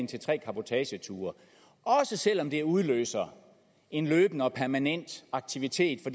til tre cabotageture også selv om det udløser en løbende og permanent aktivitet